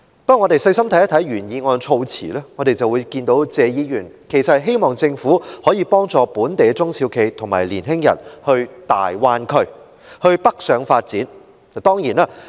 不過，若仔細閱讀原議案的措辭，便會發覺謝議員其實是希望政府可以幫助本地的中小企及年青人北上到粵港澳大灣區發展。